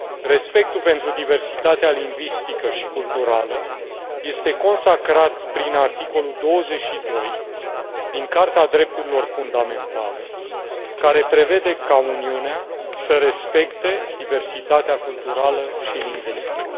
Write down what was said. Respectul pentru diversitatea lingvistică și culturală este consacrat prin articolul 22 din Carta Drepturilor Fundamentale, care prevede ca Uniunea să respecte diversitatea culturală și lingvistică.